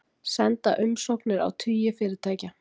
Senda umsóknir á tugi fyrirtækja